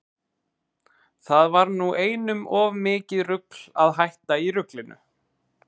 Það var nú einum of mikið rugl að hætta í ruglinu.